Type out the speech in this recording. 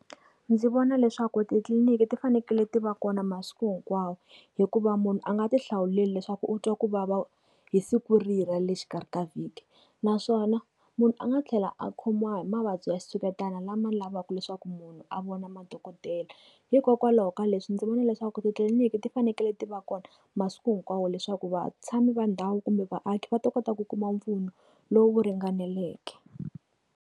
Ndzi vona leswaku titliniki ti fanekele ti va kona masiku hinkwawo hikuva munhu a nga ti hlawuleli leswaku u twa ku vava hi siku rihi ra le xikarhi ka vhiki. Naswona, munhu a nga tlhela a khomiwa hi mavabyi ya switshuketana lama lavaka leswaku munhu a vona madokodela. Hikokwalaho ka leswi ndzi vona leswaku titliniki ti fanekele tiva kona masiku hinkwawo leswaku vatshami va ndhawu kumbe vaaki va ta kota ku kuma mpfuno, lowu ringaneleke.